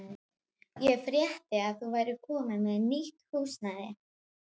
Ég frétti að þú værir komin með nýtt húsnæði.